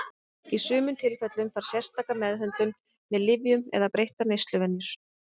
Í sumum tilfellum þarf sérstaka meðhöndlun með lyfjum eða breyttar neysluvenjur.